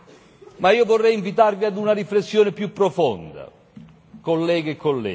Ma io vorrei invitarvi a una riflessione più profonda, colleghe e colleghi.